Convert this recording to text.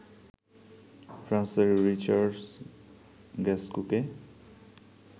ফ্রান্সের রিডার্চ গাসকুকে